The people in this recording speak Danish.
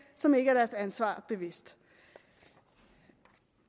som ikke er deres ansvar bevidst